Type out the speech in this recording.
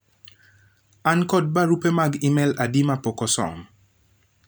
an kod barupe mag email adi mapok osom